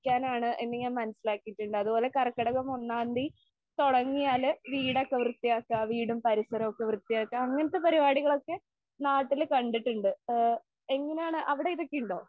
എന്ന് ഞാൻ മനസിലാക്കിയിട്ടുണ്ട്. അതുപോലെ കർക്കിടകം ഒന്നാം തിയ്യതി തുടങ്ങിയാല് വീടൊക്കെ വൃത്തിയാക്കാ വീടും പരിസരമൊക്കെ വൃത്തിയാക്കാ അങ്ങനത്തെ പരിപാടികളൊക്കെ നാട്ടില് കണ്ടിട്ടുണ്ട്. ആ എങ്ങനെയാണ് അവിടെ ഇതൊക്കെ ഉണ്ടോ?